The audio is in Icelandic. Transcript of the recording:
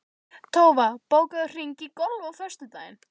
Tófa, bókaðu hring í golf á föstudaginn.